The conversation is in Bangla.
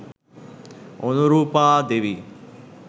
অনুরূপা দেবী